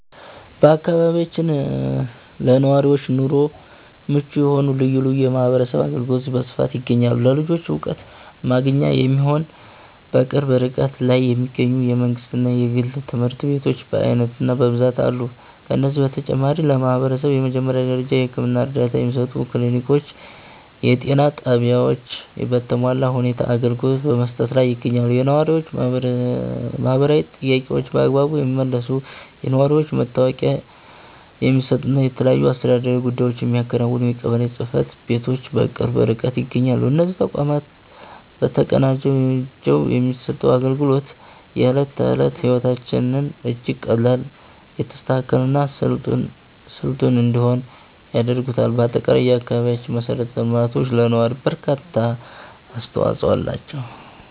በአካባቢያችን ለነዋሪዎች ኑሮ ምቹ የሆኑ ልዩ ልዩ የማህበረሰብ አገልግሎቶች በስፋት ይገኛሉ። ለልጆች ዕውቀት ማግኛ የሚሆኑ፣ በቅርብ ርቀት ላይ የሚገኙ የመንግሥትና የግል ትምህርት ቤቶች በዓይነትና በብዛት አሉ። ከዚህም በተጨማሪ፣ ለማህበረሰቡ የመጀመሪያ ደረጃ የሕክምና እርዳታ የሚሰጡ ክሊኒኮችና የጤና ጣቢያዎች በተሟላ ሁኔታ አገልግሎት በመስጠት ላይ ይገኛሉ። የነዋሪዎችን ማህበራዊ ጥያቄዎች በአግባቡ የሚመልሱ፣ የነዋሪነት መታወቂያ የሚሰጡና የተለያዩ አስተዳደራዊ ጉዳዮችን የሚያከናውኑ የቀበሌ ጽሕፈት ቤቶችም በቅርብ ርቀት ይገኛሉ። እነዚህ ተቋማት ተቀናጅተው የሚሰጡት አገልግሎት፣ የዕለት ተዕለት ሕይወታችንን እጅግ ቀላል፣ የተስተካከለና ስልጡን እንዲሆን ያደርጉታል። በአጠቃላይ፣ የአካባቢያችን መሠረተ ልማቶች ለነዋሪው እርካታ ትልቅ አስተዋጽኦ አላቸው።